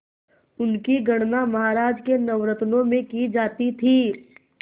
उनकी गणना महाराज के नवरत्नों में की जाती थी